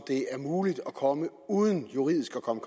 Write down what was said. det er muligt at komme uden juridisk at komme